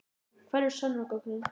Hvar eru sönnunargögnin?